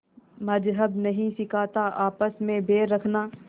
मज़्हब नहीं सिखाता आपस में बैर रखना